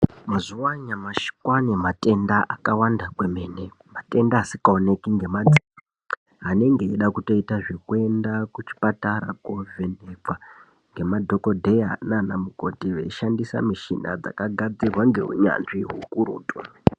Mazuva anyamashi kwaane matenda akawanda maningi kwemene matenda asingaoneki ngemadziso anenge eida kutotita zvekutoenda kuchipatara kovhenekwa ngemadhokodheya nanamukoti veishandisa michina yakagadzirwa ngeunyanzvi ukurutu .